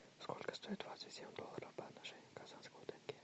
сколько стоит двадцать семь долларов по отношению к казахскому тенге